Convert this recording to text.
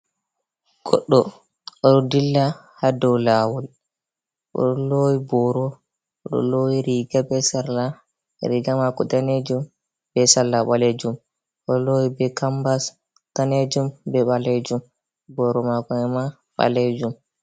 Goɗɗo oɗo dilla ha dow lawol o lowi boro o losi riga be sarla, riga mai danejum be sarla ɓalejum o lowi be kambas danejum be ɓalejum boro mako ema ɓalejum.